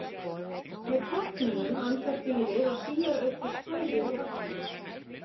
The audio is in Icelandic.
Með tálknunum andar dýrið og síar auk þess fæðu úr vatninu.